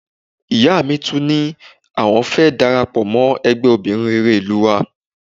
Ìyá mi tún ní àwọn fẹ́ darapọ̀ mọ́ ẹgbẹ́ obìnrin rere ìlú wa